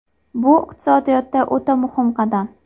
Bu iqtisodiyotda o‘ta muhim qadam.